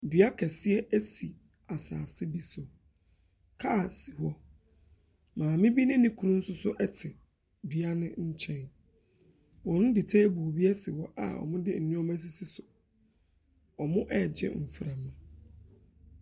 Dua kɛseɛ si asase bi so. Kaa si hɔ. Maame bi ne ne kunu nso so te dua no nkyɛn. Wɔde table bi asi hɔ a wɔde nneɛma asisi so. Wɔregye mframa.